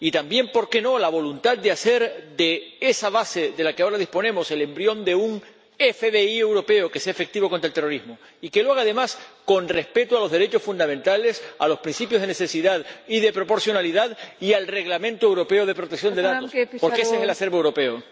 Y también, por qué no, la voluntad de hacer de esa base de la que ahora disponemos el embrión de un FBI europeo que sea efectivo contra el terrorismo. Y que se haga, además, con respeto de los derechos fundamentales, de los principios de necesidad y de proporcionalidad y del Reglamento europeo de protección de datos, porque ese es el acervo europeo.